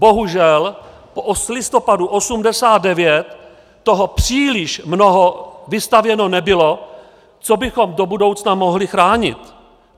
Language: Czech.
Bohužel od listopadu 1989 toho příliš mnoho vystavěno nebylo, co bychom do budoucna mohli chránit.